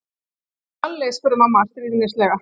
Lalli? spurði mamma stríðnislega.